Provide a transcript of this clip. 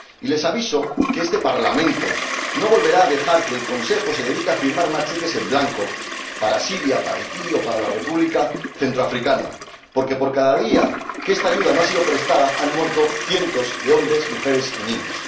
Y les aviso de que este Parlamento no volverá a dejar que el Consejo se dedique a firmar más cheques en blanco para Siria, para Haití o para la República Centroafricana, porque por cada día que no se ha prestado esta ayuda han muerto cientos de hombres, mujeres y niños.